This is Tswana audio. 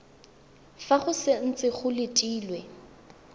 fa go santse go letilwe